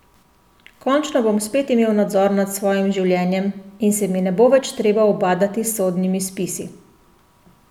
Končno bom spet imel nadzor nad svojim življenjem in se mi ne bo več treba ubadati s sodnimi spisi.